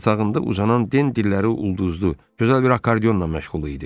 Yatağında uzanan Denin əlləri ulduzlu, gözəl bir akkordeonla məşğul idi.